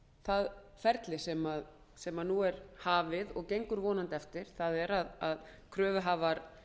það ferli sem nú er hafið og gengur vonandi eftir það er að kröfuhafar